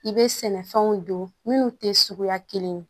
I bɛ sɛnɛfɛnw don minnu tɛ suguya kelen ye